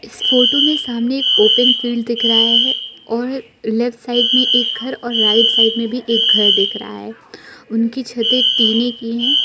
इस फोटो में सामने एक ओपन फील्ड दिख रहा है और लेफ्ट साइड में एक घर और राइट साइड में भी एक घर दिख रहा है उनकी छते टिने की है।